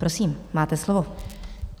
Prosím, máte slovo.